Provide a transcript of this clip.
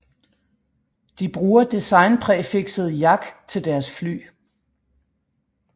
De bruger designpræfikset Jak til deres fly